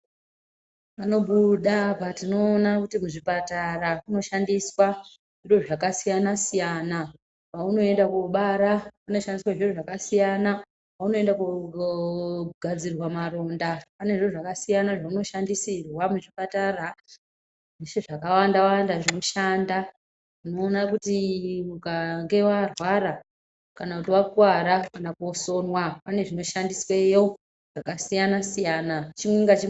Panobuda patinoona kuti muzvipatara munoshandiswa zviro zvakasiyana siyana ,paunoenda kunobara kunoshandiswa zviro zvakasiyana ,paunoenda kunogadzirwe maronda panezvinhu zvakasiyana zvaunoshandisirwa muchipatara zvese zvakawanda wanda zvinoshanda, unoona kuti ukange warwara kana kuti wakuwara kana kusonwa, pane zvinoshandisweyo zvakasiyana siyana.